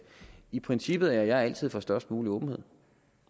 i princippet er jeg altid for størst mulig åbenhed